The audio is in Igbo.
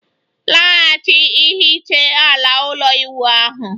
Laghachi hiche ala ụlọ ịwụ ahu